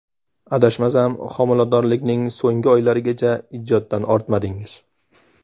Adashmasam, homiladorlikning so‘nggi oylarigacha ijoddan ortmadingiz?